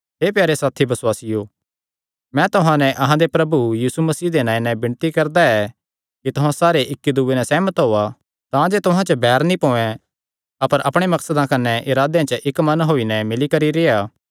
हे प्यारे साथी बसुआसियो मैं तुहां नैं अहां दे प्रभु यीशु मसीह दे नांऐ नैं विणती करदा ऐ कि तुहां सारे इक्की दूये नैं सेहमत होआ तांजे तुहां च बैर नीं पोयैं अपर अपणे मकसदां कने इरादेयां च इक्क मन होई नैं मिल्ली करी रेह्आ